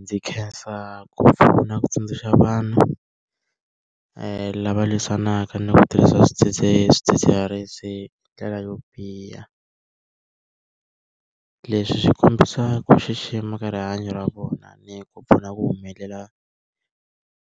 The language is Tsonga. Ndzi khensa ku pfuna ku tsundzuxa vanhu lava lwisanaka ni ku tirhisa swidzidziharisi ndlela yo biha. Leswi swi kombisa ku xixima ka rihanyo ra vona ni ku pfuna ku humelela